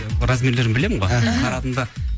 размерлерін білемін ғой қарадым да